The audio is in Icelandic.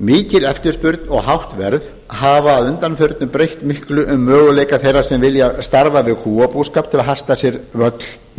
mikil eftirspurn og hátt verð hafa að undanförnu breytt miklu um möguleika þeirra sem vilja starfa við kúabúskap til að hasla sér völl í